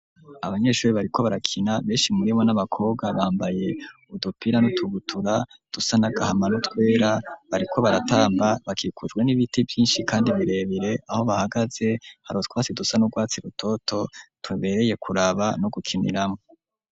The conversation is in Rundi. Abanyeshure, bariko barakina; benshi muri bo, ni abakobwa, bambaye udupira, n'utubutura, dusa n'agahama, n'utwera; bariko baratamba, bakikujwe n'ibiti vyinshi, kandi birebire; aho bahagaze, hari utwasi, dusa n'urwatsi rutoto, tubereye kuraba, no gukiniramwo.